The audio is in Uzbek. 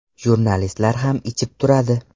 Jurnalistlar ham ichib turadi.